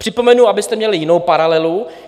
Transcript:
Připomenu, abyste měli jinou paralelu.